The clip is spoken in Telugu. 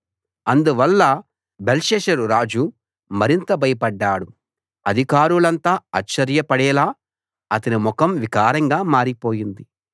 అందువల్ల బెల్షస్సరు రాజు మరింత భయపడ్డాడు అధికారులంతా ఆశ్చర్యపడేలా అతని ముఖం వికారంగా మారిపోయింది